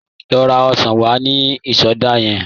Lọ ra ọsàn wá ní ìsọdá yẹn.